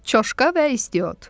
Çoşqa və İstiot.